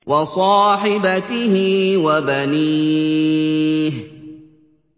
وَصَاحِبَتِهِ وَبَنِيهِ